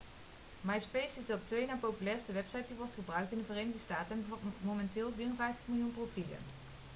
myspace is de op twee na populairste website die wordt gebruikt in de verenigde staten en bevat momenteel 54 miljoen profielen